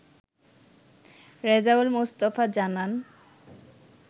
রেজাউল মোস্তফা জানান